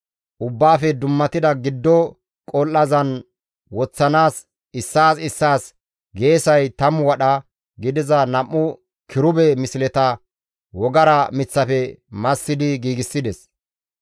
Ubbaafe dummatida giddo qol7azan woththanaas issaas issaas geesay 10 wadha gidiza nam7u kirube misleta wogara miththafe massidi giigsides.